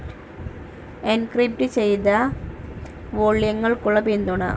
encrypted ചെയ്ത വോള്യങ്ങൾക്കുള്ള പിന്തുണ